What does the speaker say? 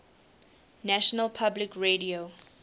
national public radio